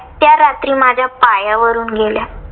त्या रात्री माझ्या पायावरून गेल्या.